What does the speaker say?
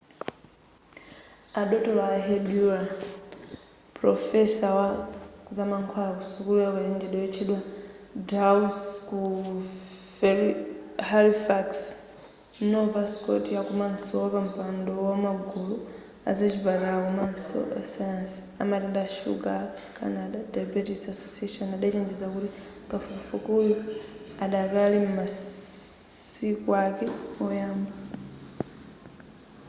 a dotolo a ehud ur pulofesa wa zamankhwala ku sukula ya ukachenjede yotchedwa dalhousie ku halifax nova scotia komanso wapampando wamagulu azachipatala komanso asayansi amatenda a shuga a canada diabetes association adachenjeza kuti kafukufukuyu adakali m'masiku ake oyamba